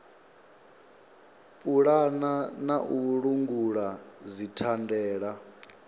pulana na u langula dzithandela